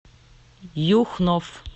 юхнов